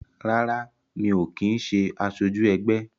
Rárá, mi ò kin ṣé asoju ẹgbẹ́